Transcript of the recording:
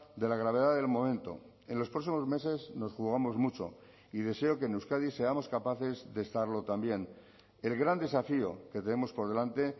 de la gravedad del momento en los próximos meses nos jugamos mucho y deseo que en euskadi seamos capaces de estarlo también el gran desafío que tenemos por delante